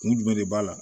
Kun jumɛn de b'a la